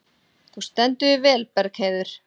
Þú stendur þig vel, Bergheiður!